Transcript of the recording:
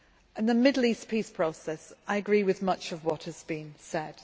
On the Middle East process, I agree with much of what has been said.